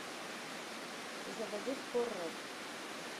заводи хоррор